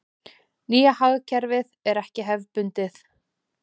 Nýja hagkerfið er ekki hefðbundið.